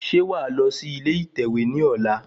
Ṣe wàá lọ sí ilé ìtẹ̀wé ní ọ̀la?